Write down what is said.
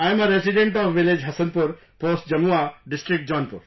I am a resident of village Hasanpur, Post Jamua, District Jaunpur